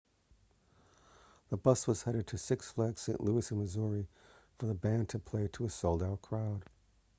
the bus was headed to six flags st louis in missouri for the band to play to a sold-out crowd